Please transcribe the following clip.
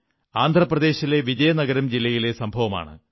ആന്ധ്രപ്രദേശിലെ വിജയനഗരം ജില്ലയിലെ സംഭവമാണ്